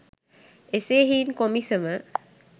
එසේ හෙයින් කොමිසම